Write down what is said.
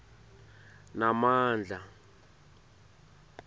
namandla